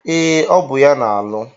Ee, ọ bụ ya na-alụ.